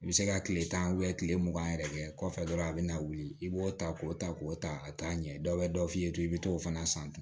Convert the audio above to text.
I bɛ se ka tile tan tile mugan yɛrɛ kɛ kɔfɛ dɔrɔn a bɛ na wuli i b'o ta k'o ta k'o ta ka taa ɲɛ dɔ bɛ dɔ f'i ye to i bɛ t'o fana san ten